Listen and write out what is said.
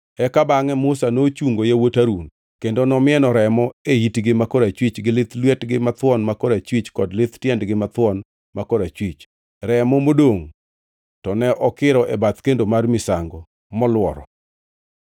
Eka bangʼe Musa nochungo yawuot Harun, kendo nomieno remo e itgi ma korachwich gi lith lwetgi mathuon ma korachwich kod lith tiendegi mathuon ma korachwich. Remo modongʼ to ne okiro e bath kendo mar misango moluoro.